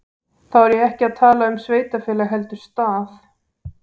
Þá er ég ekki að tala um sveitarfélag heldur stað.